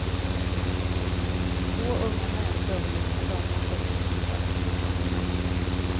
Två unga män dömdes till långa fängelsestraff.